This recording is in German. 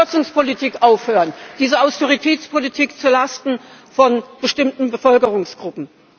Also muss die Kürzungspolitik aufhören, diese Austeritätspolitik zu Lasten von bestimmten Bevölkerungsgruppen.